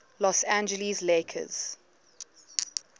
los angeles lakers